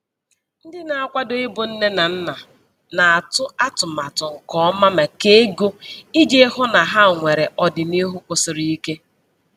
Ndị na-akwado ịbụ nne na nna na-atụ atụmatụ nke ọma maka ego iji hụ na ha nwere ọdịniihu kwụsiri ike.